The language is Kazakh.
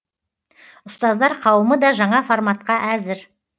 ұстаздар қауымы да жаңа форматқа әзір